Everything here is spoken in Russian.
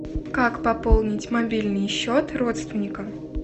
как пополнить мобильный счет родственника